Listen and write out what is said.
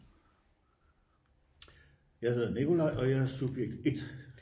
Jeg hedder Nikolaj og jeg er subjekt 1